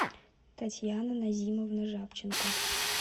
татьяна назимовна жабченко